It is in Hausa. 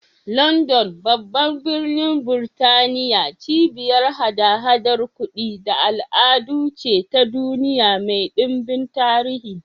London, babban birnin Burtaniya, cibiyar haɗa-haɗar kudi da al'adu ce ta duniya mai ɗimbin tarihi.